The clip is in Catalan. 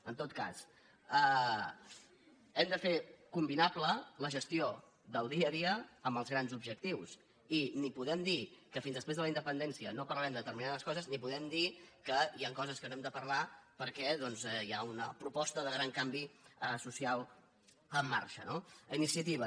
en tot cas hem de fer combinable la gestió del dia a dia amb els grans objectius i ni podem dir que fins després de la independència no parlarem de determi·nades coses ni podem dir que hi han coses que no n’hem de parlar perquè doncs hi ha una proposta de gran canvi social en marxa no iniciativa